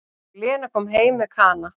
Og Lena kom heim með Kana.